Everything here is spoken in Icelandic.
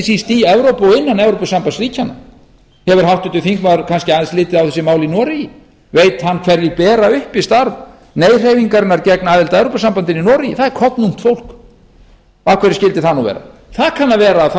síst í evrópu og innan evrópusambandsríkjanna eru háttvirtur þingmaður kannski aðeins litið á þessi mál í noregi veit að hverjir bera uppi starf nei hreyfingarinnar gegn aðild að evrópusambandinu í noregi það er kornungt fólk af hverju skyldi það nú vera það kann að vera að það